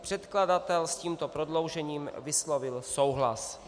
Předkladatel s tímto prodloužením vyslovil souhlas.